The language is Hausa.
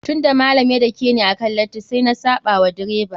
Tun da malam ya dakeni akan lati, sai na saɓa wa direba.